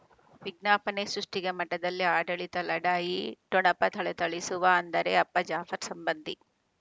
ವಿಜ್ಞಾಪನೆ ಸೃಷ್ಟಿಗೆ ಮಠದಲ್ಲಿ ಆಡಳಿತ ಲಢಾಯಿ ಠೊಣಪ ಥಳಥಳಿಸುವ ಅಂದರೆ ಅಪ್ಪ ಜಾಫರ್ ಸಂಬಂಧಿ